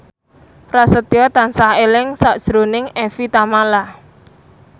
Prasetyo tansah eling sakjroning Evie Tamala